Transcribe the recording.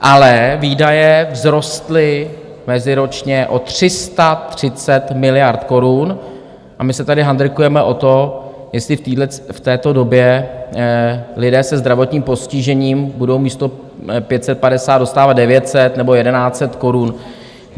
Ale výdaje vzrostly meziročně o 330 miliard korun a my se tady handrkujeme o to, jestli v této době lidé se zdravotním postižením budou místo 550 dostávat 900 nebo 1100 korun.